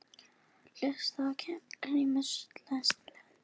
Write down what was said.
Hluti Kínamúrsins.